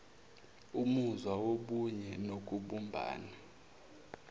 umuzwa wobunye nokubumbana